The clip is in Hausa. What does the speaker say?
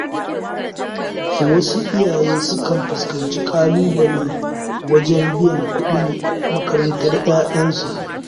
Wasu iyayen sukan fuskanci ƙalubale wajen biyan kuɗin makarantar 'ya'yansu.